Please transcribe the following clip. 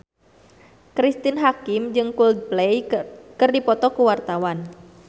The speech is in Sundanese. Cristine Hakim jeung Coldplay keur dipoto ku wartawan